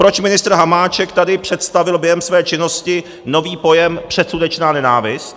Proč ministr Hamáček tady představil během své činnosti nový pojem předsudečná nenávist.